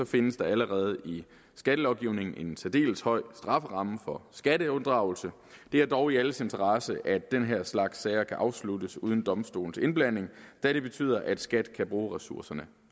findes der allerede i skattelovgivningen en særdeles høj strafferamme for skatteunddragelse det er dog i alles interesse at den her slags sager kan afsluttes uden domstolens indblanding da det betyder at skat kan bruge ressourcerne